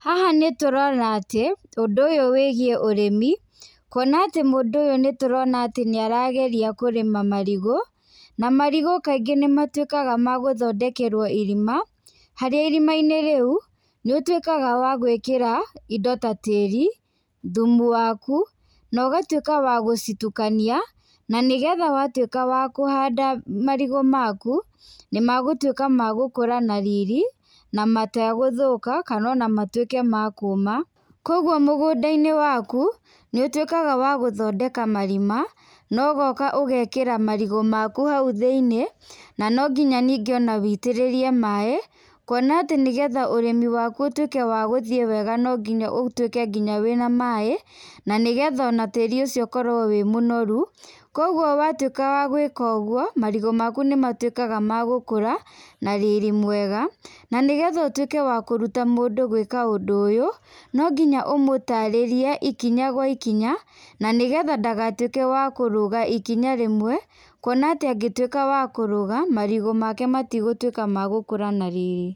Haha nĩ tũrona atĩ ũndũ ũyũ wĩgiĩ ũrĩmi kũona atĩ mũndũ ũyũ nĩtũrona atĩ nĩarageria kũrĩma marigũ, na marĩgũ kaĩngĩ nĩ matwĩkaga magũthondekerwo irĩma harĩa irĩma inĩ rĩũ nĩ ũtwĩkaga wa gwĩkĩra indo ta tĩri ,thũmũ wakũ na ũgatwĩka wagũcitũkania na nĩgetha watwĩka wakũhanda marĩgũ makũ nĩmagũtwĩka nĩ magũkũra na riri na mategũthũka kana ona matwĩke makũma kũogũo mũgũndainĩ wakũ, nĩũtwĩkaga wagũthondeka marima na ũgoka ũgekĩra marĩgũ makũ haũ thĩinĩ na nongĩna nĩngĩ on wĩitĩrĩrie maĩ kũona atĩ nĩgetha ũrĩmi wakũ ũtwĩke wagũthiĩ wega no nginya ũtwĩke wĩna na maĩ na nĩgetha ona tĩri ũcio ũkorwĩ wĩ mũnorũ kũogũo watwĩka wagwĩka ũgũo marigũ makũ nĩ matwĩkaga magũkũra na riri mwega na nĩgetha ũtwĩke wa kũrũta mũnndũ gwĩka ũndũ ũyũ no nginya ũmũtarĩrĩe ikinya gwa ikinya na nĩgetha ndagatwĩke wa kũrũga ikinya rĩmwe kũona atĩ angĩtwĩka wa kũraga marigũ make matigũtwĩka magũkũra na riri.